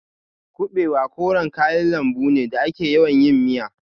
Kuɓewa koren kayan lambu ne da ake yawan yin miya.